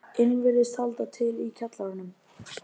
inn virðist halda til í kjallaranum.